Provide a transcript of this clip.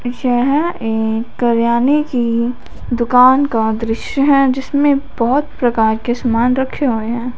यह एक किरयाने की दुकान का दृश्य है जिसमें बहोत प्रकार के समान रखे हुए हैं।